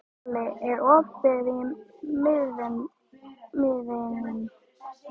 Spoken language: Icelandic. Váli, er opið í Miðeind?